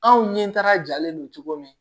Anw ɲɛtara jalen don cogo min